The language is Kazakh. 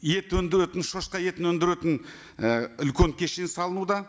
ет өндіретін шошқа етін өндіретін і үлкен кешен салынуда